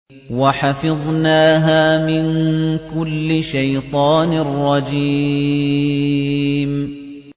وَحَفِظْنَاهَا مِن كُلِّ شَيْطَانٍ رَّجِيمٍ